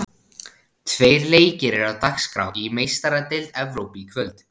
Tveir leikir eru á dagskrá í Meistaradeild Evrópu í kvöld.